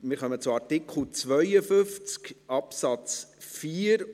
Wir kommen zu Artikel 52 Absatz 4.